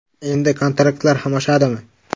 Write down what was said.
Endi kontraktlar ham oshadimi?.